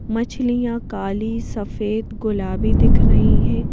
मछलियां काली सफेद गुलाबी दिख रही हैं।